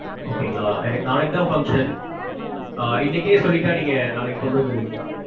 okay ங்களா? எனக்கு நாளைக்குதா function இன்னைக்கே சொல்லிட்டா நீங்க நாளைக்கு கொண்டு வந்துருவீங்களா?